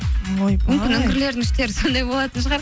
ойбай мүмкін үңгірлердің іштері сондай болатын шығар